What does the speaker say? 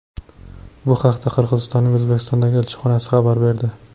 Bu haqda Qirg‘izistonning O‘zbekistondagi elchixonasi xabar berdi .